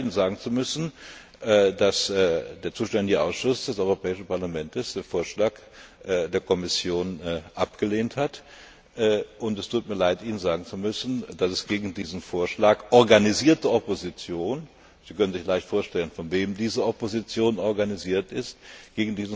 Es tut mir leid, Ihnen sagen zu müssen, dass der zuständige Ausschuss des Europäischen Parlaments den Vorschlag der Kommission abgelehnt hat, und es tut mir leid, Ihnen sagen zu müssen, dass es gegen diesen Vorschlag organisierte Opposition Sie können sich leicht vorstellen, von wem diese Opposition organisiert wird